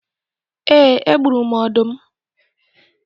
Ee, egburu m ọdụm